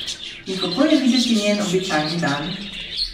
In kako je videti njen običajni dan?